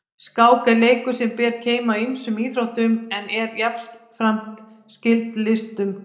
Skák er leikur sem ber keim af ýmsum íþróttum en er jafnframt skyld listunum.